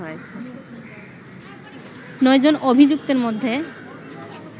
৯ জন অভিযুক্তের মধ্যে